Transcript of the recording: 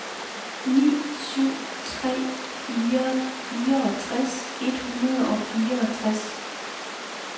ni syv tre fire fireogtres et hundrede og fireogtres